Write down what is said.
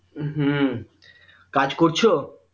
হম কাজ করছো